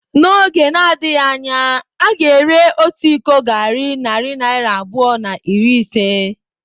N’oge na-adịghị anya, a ga-ere otu iko garri narị naira abụọ na iri ise.